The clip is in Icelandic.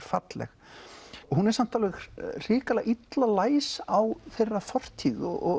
falleg hún er samt hrikalega illa læs á þeirra fortíð og